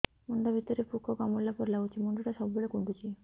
ମୁଣ୍ଡ ଭିତରେ ପୁକ କାମୁଡ଼ିଲା ପରି ଲାଗୁଛି ମୁଣ୍ଡ ଟା ସବୁବେଳେ କୁଣ୍ଡୁଚି